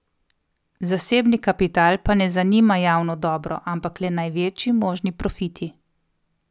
Zasebni kapital pa ne zanima javno dobro, ampak le največji možni profiti.